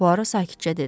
Puaro sakitcə dedi.